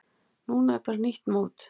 Núna er bara nýtt mót.